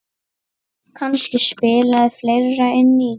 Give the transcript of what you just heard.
Kannski spilaði fleira inn í.